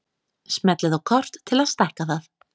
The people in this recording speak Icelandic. Smellið á kort til að stækka það.